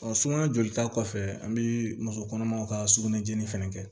sunkalo jolita kɔfɛ an bɛ muso kɔnɔmaw ka sukunɛ jeni fɛnɛ